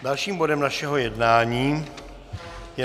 Dalším bodem našeho jednání je